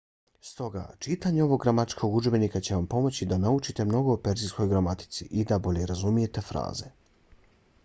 stoga čitanje ovog gramatičkog udžebnika će vam pomoći da naučite mnogo o perzijskoj gramatici i da bolje razumijete fraze